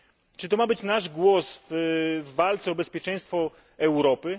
Czy to ma być nasz głos w walce o bezpieczeństwo Europy?